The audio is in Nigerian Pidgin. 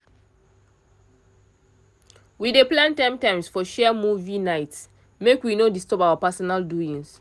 we dey plan times times for shared movie nights make we no disturb our personal doings